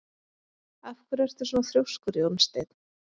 Af hverju ertu svona þrjóskur, Jónsteinn?